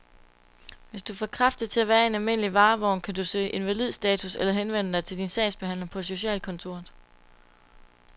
Hvis du er for kraftig til at være i en almindelig varevogn, kan du kan søge invalidestatus eller henvende dig til din sagsbehandler på socialkontoret.